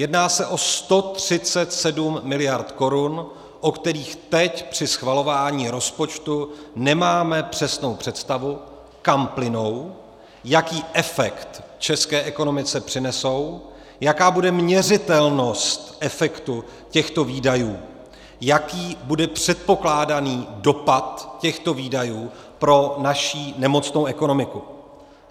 Jedná se o 137 miliard korun, o kterých teď při schvalování rozpočtu nemáme přesnou představu, kam plynou, jaký efekt české ekonomice přinesou, jaká bude měřitelnost efektu těchto výdajů, jaký bude předpokládaný dopad těchto výdajů pro naši nemocnou ekonomiku.